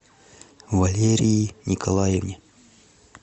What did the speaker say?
валерии николаевне